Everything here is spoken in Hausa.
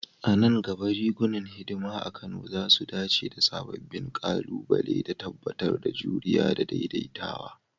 A nan gaba, rigunan hidima a Kano za su dace da sababbin ƙalubale, da tabbatar da juriya da daidaitawa.